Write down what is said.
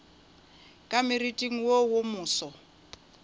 ka moriting wo wo moso